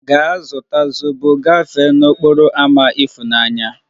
Gaa zụta zobo gafee n'okporo ámá ifunanya!